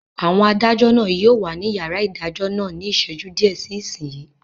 Àwọn adájọ́ náà yóò wà ní yàrá ìdájọ́ náà ní ìṣẹ́jú díẹ̀ sí ìsinyìí